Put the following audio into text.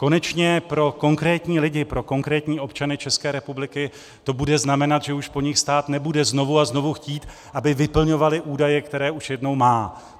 Konečně pro konkrétní lidi, pro konkrétní občany České republiky, to bude znamenat, že už po nich stát nebude znovu a znovu chtít, aby vyplňovali údaje, které už jednou má.